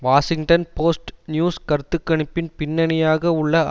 Washington Post news கருத்துக்கணிப்பின் பின்னணியாக உள்ள